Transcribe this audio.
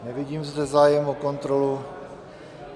Nevidím zde zájem o kontrolu.